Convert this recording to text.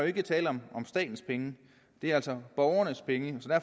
ikke tale om statens penge det er altså borgernes penge